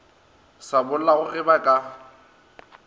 sa bollago ge ba ka